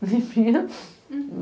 Limpinha.